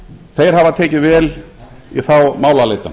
þeir hafa tekið vel í þá málaleitan